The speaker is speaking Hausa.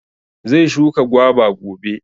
Zai shuka gwaba gobe